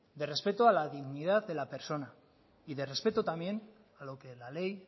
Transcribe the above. de respeto a la dignidad de la persona y de respeto también a lo que la ley